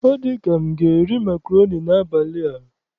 Ọ dị ka m ga-eri makroni n'abalị a.